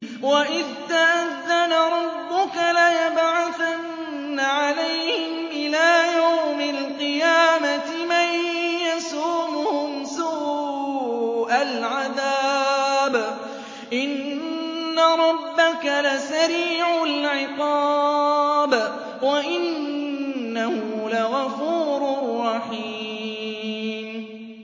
وَإِذْ تَأَذَّنَ رَبُّكَ لَيَبْعَثَنَّ عَلَيْهِمْ إِلَىٰ يَوْمِ الْقِيَامَةِ مَن يَسُومُهُمْ سُوءَ الْعَذَابِ ۗ إِنَّ رَبَّكَ لَسَرِيعُ الْعِقَابِ ۖ وَإِنَّهُ لَغَفُورٌ رَّحِيمٌ